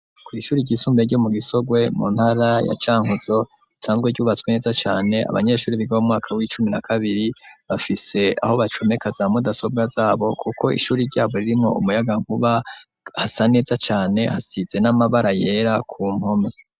Kw’ishure ryisumbuye ryo mu gisogwe mu ntara ya cankuzo cangwe ryubatswe neza cane ,abanyeshure biga mu mwaka w'icumi na kabiri bafise aho bacomeka za mudasobwa zabo kuko ishuri ryabo ririmwo umuyaga nkuba, hasa neza cane hasize n'amabara yera ku mpome.